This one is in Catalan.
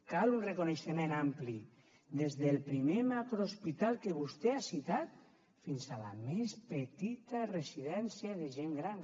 cal un reconeixement ampli des del primer macrohospital que vostè ha citat fins a la més petita residència de gent gran